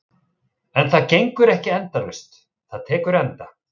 En það gengur ekki endalaust, það tekur enda.